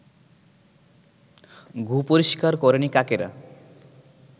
গু-পরিষ্কার করেনি কাকেরা